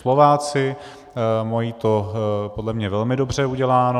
Slováci to mají podle mě velmi dobře uděláno.